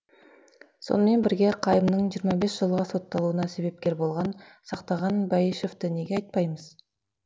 сонымен бірге қайымның жиырма бес жылға сотталуына себепкер болған сақтаған бәйішевті неге айтпаймыз